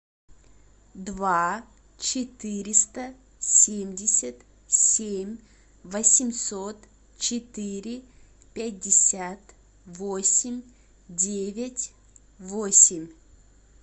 два четыреста семьдесят семь восемьсот четыре пятьдесят восемь девять восемь